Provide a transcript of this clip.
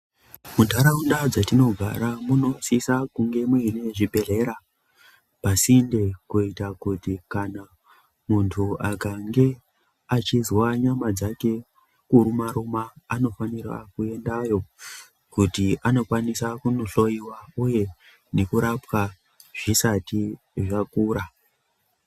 Munharaunda dzatinogara munosisa kunge muine zvibhedhlera pasinde kuita kuti kana muntu akange echizwa nyama dzake kuruma ruma anofanira kuendayo kuti anokwanisa kunohloyiwa uye nekurapwa zvisati zvakura.